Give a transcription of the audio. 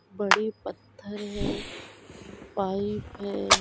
बड़े पत्थर है पाइप है।